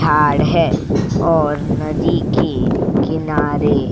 थाड़ है और नदी के किनारे --